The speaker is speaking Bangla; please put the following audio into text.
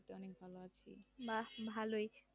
বাহ ভালই